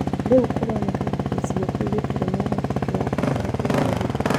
Rĩu kũroneka ta gĩcigo kĩu gĩtarĩ na ũhoti kĩrabatara kũgarũrũka."